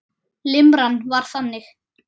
Limran var þannig